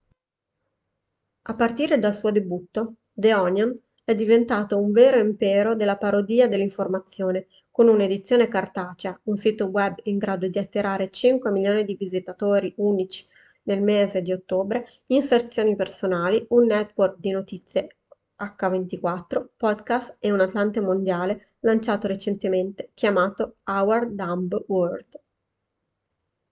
a partire dal suo debutto the onion è diventato un vero impero della parodia dell'informazione con un'edizione cartacea un sito web in grado di attirare 5.000.000 di visitatori unici nel mese di ottobre inserzioni personali un network di notizie h24 podcast e un atlante mondiale lanciato recentemente chiamato our dumb world